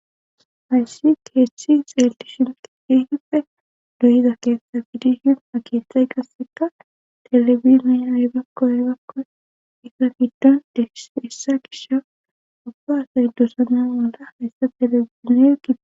hayssi keethethi xeeldishin tifihippe doyiza keessa fidihin a kithay qasseka telebiniybakkoebakko isa fiddon des hessa gisha abbahasay dosana molla hayssa teleizinegige